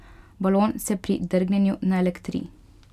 Balon se pri drgnjenju naelektri.